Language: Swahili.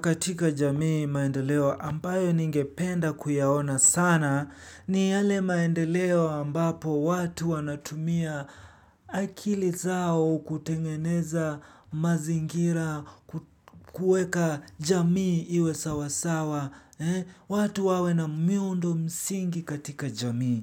Katika jamii maendeleo ambayo ningependa kuyaona sana ni yale maendeleo ambapo watu wanatumia akili zao kutengeneza mazingira kuweka jamii iwe sawasawa. Watu wawe na miundo msingi katika jamii.